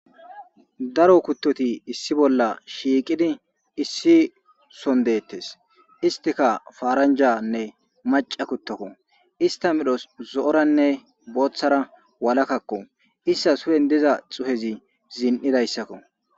Daro kuttoti issi bolla shiiqidi issi son deettes istika faaranjanne maca kuttakko ista midhos zo'oranne booththara walakakko issa suhen diza xuhezi ziin7idayssakko.